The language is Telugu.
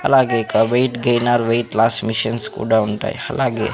అలాగే ఇక weight gainer weight loss machines కూడా ఉంటాయ్ అలాగే--